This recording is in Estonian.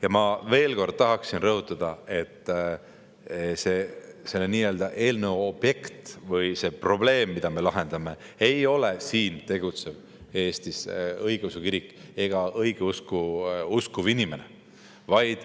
Ja ma veel kord tahan rõhutada, et selle eelnõu objekt või see probleem, mida me lahendame, ei ole siin tegutsev Eesti õigeusu kirik ega õigeusku uskuv inimene.